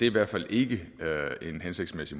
i hvert fald ikke en hensigtsmæssig